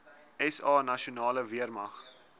sa nasionale weermag